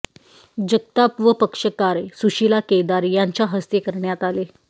जगताप व पक्षकार सुशीला केदार यांच्या हस्ते करण्यात आले